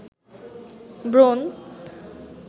ব্রণ